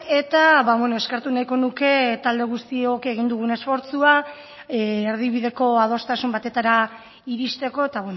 eta eskertu nahiko nuke talde guztiok egin dugun esfortzua erdibideko adostasun batetara irizteko eta